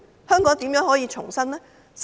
香港如何重生？